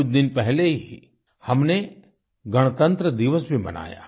अभी कुछ दिन पहले ही हमने गणतन्त्र दिवस भी मनाया